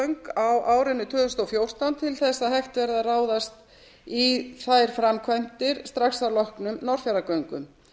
fjarðarheiðargöng á árinu tvö þúsund og fjórtán til þess að hægt verði að ráðast í þær framkvæmdir strax að loknum norðfjarðargöngum